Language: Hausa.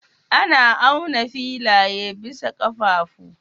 Ana auna filaye bisa ƙafafu.